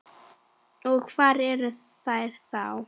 Og hvað eru þær þá?